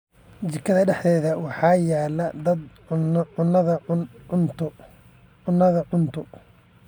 Jikada dhexdeeda waxaa yaal dab cunaya cunto.